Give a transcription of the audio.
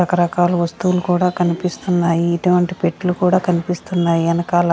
రకరకాల వస్తువులు కూడా కనిపిస్తున్నాయి ఇటువంటి పెట్లు కూడా కనిపిస్తున్నాయి వెనకాల --